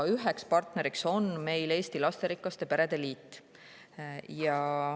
Üks partner on meil Eesti Lasterikaste Perede Liit.